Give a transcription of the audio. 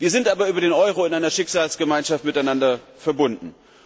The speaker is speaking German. Wir sind aber über den Euro in einer Schicksalsgemeinschaft miteinander verbunden.